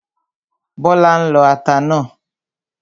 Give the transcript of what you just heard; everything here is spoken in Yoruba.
Bọ́lá ń lọ ata náà